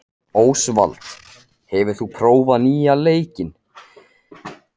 Ósvald, hefur þú prófað nýja leikinn?